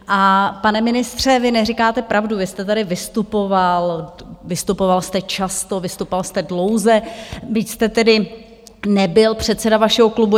A, pane ministře, vy neříkáte pravdu, vy jste tady vystupoval, vystupoval jste často, vystupoval jste dlouze, byť jste tedy nebyl předseda vašeho klubu.